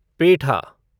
पेठा